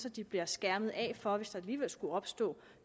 at de bliver skærmet af for det hvis der alligevel skulle opstå